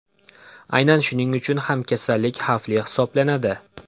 Aynan shuning uchun ham kasallik xavfli hisoblanadi.